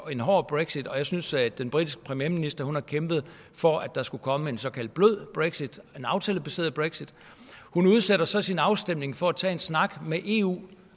en hård brexit og jeg synes at den britiske premierminister har kæmpet for at der skulle komme en såkaldt blød brexit en aftalebaseret brexit hun udsætter så sin afstemning for at tage en snak med eu